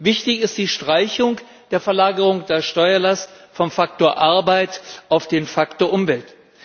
Wichtig ist die Streichung der Verlagerung der Steuerlast vom Faktor Arbeit auf den Faktor Umwelt.